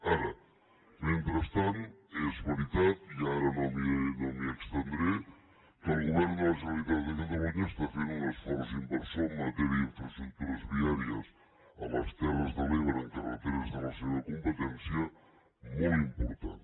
ara mentrestant és veritat i ara no m’hi estendré que el govern de la generalitat de catalunya està fent un esforç inversor en matèria d’infraestructures viàries a les terres de l’ebre en carreteres de la seva competència molt important